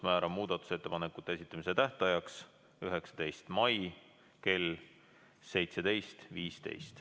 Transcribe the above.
Määran muudatusettepanekute esitamise tähtajaks 19. mai kell 17.15.